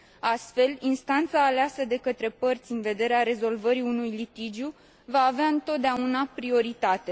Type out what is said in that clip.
Astfel, instanța aleasă de către părți în vederea rezolvării unui litigiu va avea întotdeauna prioritate.